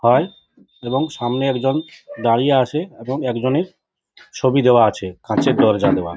হয় এবং সামনে একজন দাঁড়িয়ে আছে এবং একজনের ছবি দেয়া আছে কাঁচের দরজা দেওয়া।